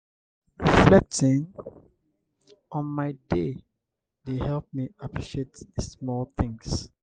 reflecting on my day dey help me appreciate the small things.